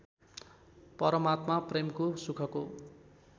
परमात्मा प्रेमको सुखको